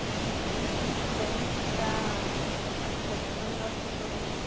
Então a gente se sente muito bem de estar podendo ajudar as pessoas nesse sentido.